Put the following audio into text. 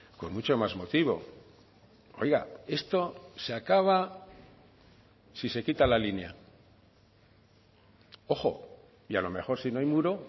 con mucho más motivo oiga esto se acaba si se quita la línea ojo y a lo mejor si no hay muro